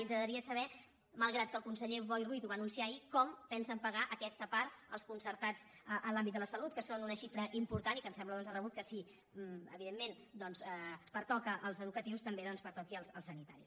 ens agradaria saber mal·grat que el conseller boi ruiz ho va anunciar ahir com pensen pagar aquesta part als concertats en l’àmbit de la salut que són una xifra important i que ens sembla doncs de rebut que si evidentment pertoca als educa·tius també pertoqui als sanitaris